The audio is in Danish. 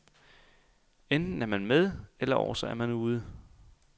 Enten er man med, eller også er man ude.